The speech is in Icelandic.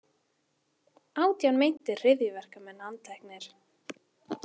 Átján meintir hryðjuverkamenn handteknir